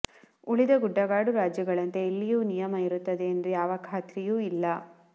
ಉಳಿದ ಗುಡ್ಡಗಾಡು ರಾಜ್ಯಗಳಂತೆ ಇಲ್ಲಿಯೂ ನಿಯಮ ಇರುತ್ತದೆ ಎಂಬ ಯಾವ ಖಾತ್ರಿಯೂ ಇಲ್ಲ